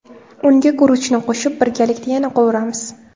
Unga guruchni qo‘shib, birgalikda yana qovuramiz.